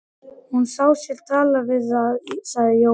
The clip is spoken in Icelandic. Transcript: Hún sér það og talar við það, sagði Jói.